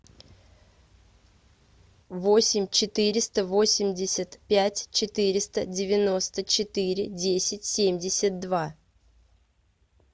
восемь четыреста восемьдесят пять четыреста девяносто четыре десять семьдесят два